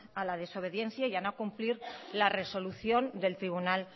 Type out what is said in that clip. a la desobediencia y a no cumplir la resolución del tribunal